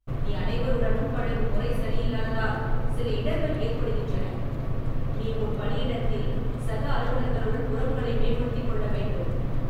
நீ அனைவருடனும் பழகும் முறை சரியில்லாத்தால் சில இடர்கள் ஏற்படுகின்றன. நீ உன் பணியிடத்தில் சக அலுவலர்களுடன் உறவுகளை மேம்படுத்திக் கொள்ள வேண்டும்